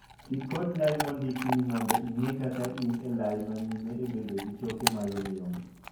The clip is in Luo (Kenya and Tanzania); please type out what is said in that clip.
Tii kod lai mondiki ni mondo ing'ee ka in e lai manyime e bedo gi choke mayomyom.